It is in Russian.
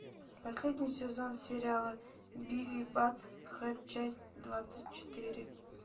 последний сезон сериала бивис и баттхед часть двадцать четыре